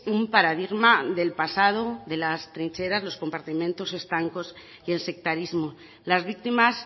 un paradigma del pasado de las trincheras los compartimentos estancos y el sectarismo las víctimas